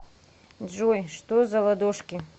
джой что за ладошки